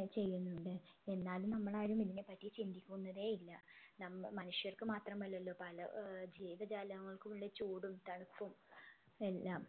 ഏർ ചെയ്യുന്നുണ്ട് എന്നാലും നമ്മളാരും ഇതിനെ പറ്റി ചിന്തിക്കുന്നതെ ഇല്ല നമ്മ മനുഷ്യർക്ക് മാത്രമല്ലല്ലോ പല ഏർ ജീവജാലങ്ങൾക്കുള്ള ചൂടും തണുപ്പും എല്ലാം